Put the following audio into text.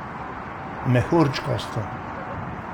Mehurčkasto.